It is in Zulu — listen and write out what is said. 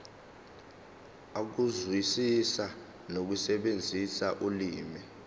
ukuzwisisa nokusebenzisa ulimi